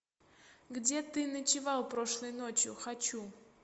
где ты ночевал прошлой ночью хочу